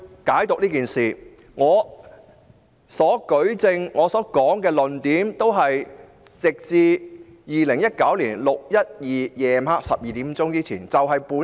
我的舉證和論述均只限於2019年6月12日晚上12時前的事。